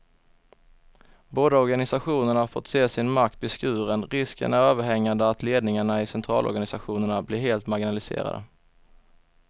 Båda organisationerna har fått se sin makt beskuren, risken är överhängande att ledningarna i centralorganisationerna blir helt marginaliserade.